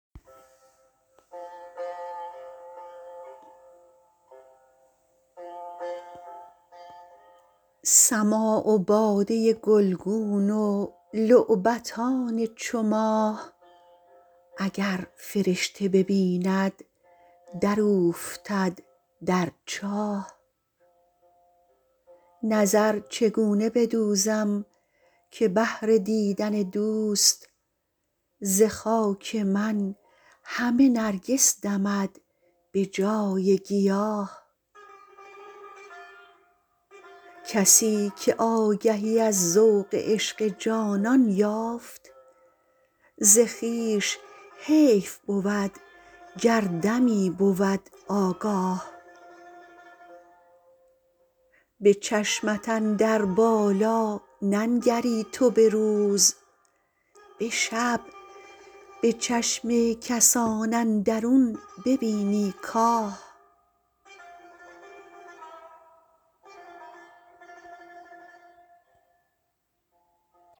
سماع و باده گلگون و لعبتان چو ماه اگر فرشته ببیند دراوفتد در چاه نظر چگونه بدوزم که بهر دیدن دوست ز خاک من همه نرگس دمد به جای گیاه کسی که آگهی از ذوق عشق جانان یافت ز خویش حیف بود گر دمی بود آگاه به چشمت اندر بالار ننگری تو به روز به شب به چشم کسان اندرون ببینی کاه